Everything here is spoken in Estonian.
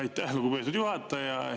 Aitäh, lugupeetud juhataja!